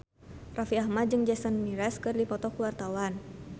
Raffi Ahmad jeung Jason Mraz keur dipoto ku wartawan